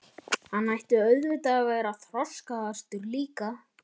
Hann ætti auðvitað að vera þroskaðastur líka.